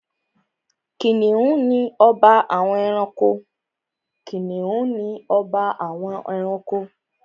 Kìnìún ni ọba àwọn ẹranko.